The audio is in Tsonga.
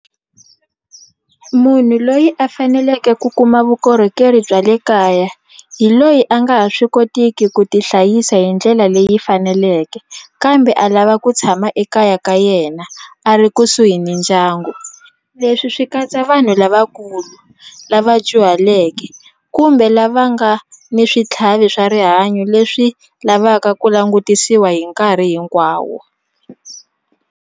Munhu loyi a faneleke ku kuma vukorhokeri bya le kaya hi loyi a nga ha swi kotiki ku ti hlayisa hi ndlela leyi faneleke kambe a lava ku tshama ekaya ka yena a ri kusuhi ni ndyangu leswi swi katsa vanhu lavakulu lava dyuhaleke kumbe lava nga ni switlhavi swa rihanyo leswi lavaka ku langutisiwa hi nkarhi hinkwawo.